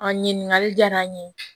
A ɲininkali diyara n ye